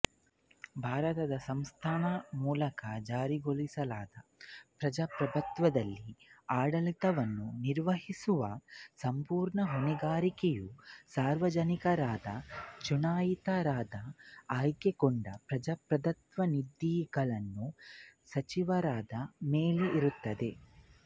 ಭಾರತದ ಸಂಸತ್ತಿನ ಮೂಲಕ ಜಾರಿಗೊಳಿಸಲಾದ ಪ್ರಜಾಪ್ರಭುತ್ವದಲ್ಲಿ ಆಡಳಿತವನ್ನು ನಿರ್ವಹಿಸುವ ಸಂಪೂರ್ಣ ಹೊಣೆಗಾರಿಕೆಯು ಸಾರ್ವಜನಿಕರಿಂದ ಚುನಾಯಿತರಾದ ಆಯ್ಕೆಗೊಂಡ ಪ್ರಜಾಪ್ರತಿನಿಧಿಗಳಾದ ಸಚಿವರುಗಳ ಮೇಲಿರುತ್ತದೆ